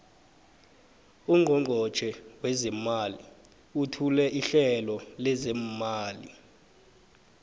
ungqongqotjhe wezeemali uthule ihlelo lezeemali